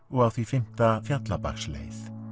og á því fimmta Fjallabaksleið